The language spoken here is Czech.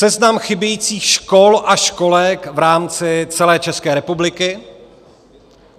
Seznam chybějících škol a školek v rámci celé České republiky.